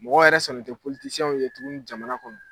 Mɔgɔ yɛrɛ sɔnnen tɛ ye tuguni jamana kɔnɔ